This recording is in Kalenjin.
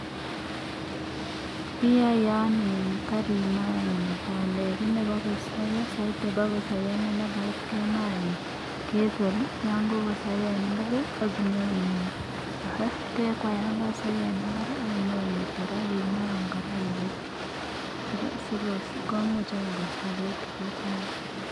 ki anyun ya kemaa bandek eng mbar ya ketor aknyima eng kora si komuch koistogei tuguk cha nywaa